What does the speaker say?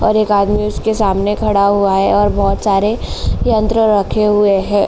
और एक आदमी उसके सामने खड़ा हुआ है और बोहोत सारे यंत्र रखे हुए हैं।